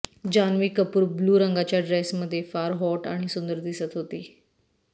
Janhvi Kapoor blue रंगाच्या ड्रेसमध्ये फार हॉट आणि सुंदर दिसत होती